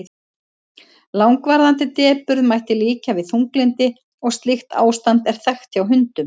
langvarandi depurð mætti líkja við þunglyndi og slíkt ástand er þekkt hjá hundum